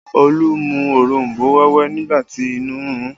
Olu mu òronbó wẹ́wẹ́ nígbà tí inú ń run ún